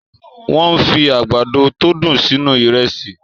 Wọ́n fi àgbàdo tó dùn sínú Ìrẹ́sì